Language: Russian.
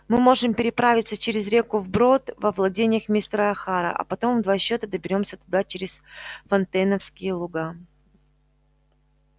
мы можем переправиться через реку вброд во владениях мистера охара а потом в два счета доберёмся туда через фонтейновские луга